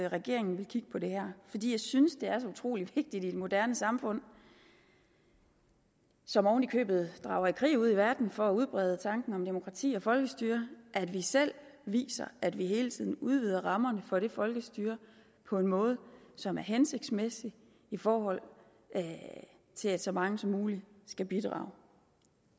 regeringen vil kigge på det her fordi jeg synes det er så utrolig vigtigt i et moderne samfund som oven i købet drager i krig ude i verden for at udbrede tanken om demokrati og folkestyre at vi selv viser at vi hele tiden udvider rammerne for det folkestyre på en måde som er hensigtsmæssig i forhold til at så mange som muligt skal bidrage